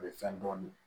A bɛ fɛn dɔɔnin